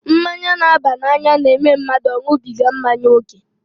Mmanya n'aba n'anya n'eme mmadụ ọ ṅubiga mmanya ókè